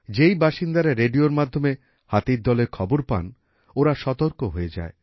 যেই বাসিন্দারা রেডিওর মাধ্যমে হাতির দলের খবর পান ওঁরা সতর্ক হয়ে যায়